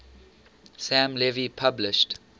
sam levy published